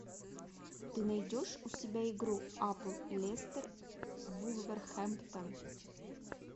ты найдешь у себя игру апл лестер вулверхэмптон